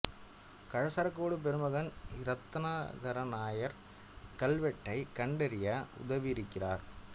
கழசரக்கோடு பெருமகன் இ ரத்னாகர நாயர் கல்வெட்டைக் கண்டறிய உதவியிருக்கிறார்